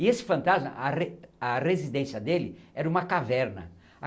E esse fantasma, a re a residência dele era uma caverna.